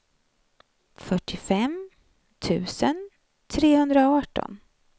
fyrtiofem tusen trehundraarton